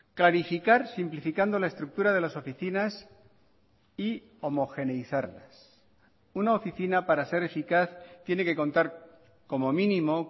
clarificar simplificando la estructura de las oficinas y homogeneizarlas una oficina para ser eficaz tiene que contar como mínimo